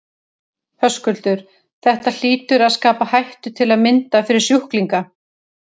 Höskuldur: Þetta hlýtur að skapa hættu til að mynda fyrir sjúklinga?